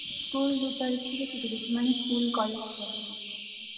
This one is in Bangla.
হ্যাঁ স্কুল দুই তারিখ থেকে ছুটি দিয়েছে স্কুল কলেজ সবই